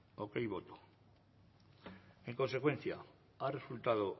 hogei boto en consecuencia ha resultado